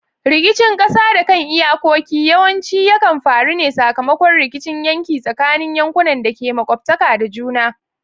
Rikicin kasa da kan iyakoki yawanci yakan faru ne sakamakon rikicin yanki tsakanin yankunan da ke makwabtaka da juna.